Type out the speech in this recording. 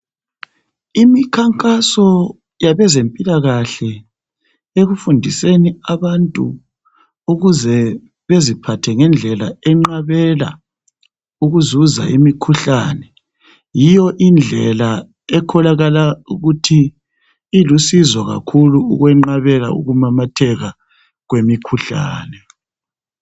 Imikhankaso yabezempilakahle ekufundiseni abantu, ukuze beziphathe ngendlela enqabela ukuzuza imikhuhlane. Yiyo indlela ekholakala ukuthi ilusizo kakhulu ukwenqabela ukumamatheka kwemikhuhlane.